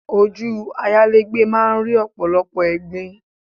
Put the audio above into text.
Ojú ayálégbé máa ń rí ọ̀pọ̀lọpọ̀ ẹ̀gbin